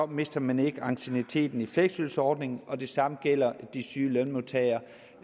mister man ikke ancienniteten i fleksydelsesordningen det samme gælder de syge lønmodtagere